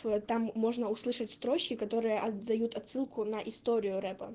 там можно услышать строчки которые отдают отсылку на историю репа